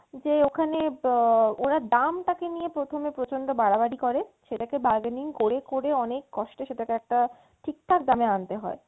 যে ওখানে আহ ওরা দামটা কে নিয়ে প্রথমে প্রচণ্ড বাড়াবাড়ি করে সেটাকে bargaining করে করে অনেক কষ্টে সেটা কে একটা ঠিকঠাক দামে আনতে হয়।